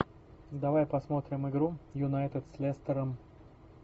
давай посмотрим игру юнайтед с лестером